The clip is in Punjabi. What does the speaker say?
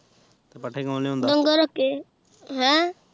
ਤੇ ਪੱਠੇ ਕੌਣ ਲਿਊਆਉਂਦਾ ਹੈਂ